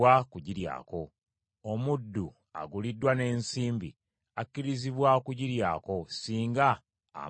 Omuddu aguliddwa n’ensimbi akkirizibwa okugiryako singa amala okukomolebwa;